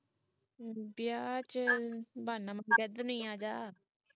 ਵਿਆਹ ਵਿੱਚ ਬਹਾਨਾ ਮਾਰ ਕੇ ਇਧਰ ਨੂੰ ਹੀ ਆਜਾ